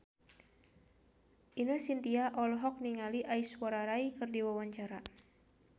Ine Shintya olohok ningali Aishwarya Rai keur diwawancara